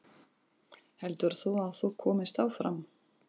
Heldur þú að þú komist áfram?